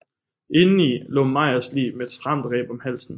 Indeni lå Meyers lig med et stramt reb om halsen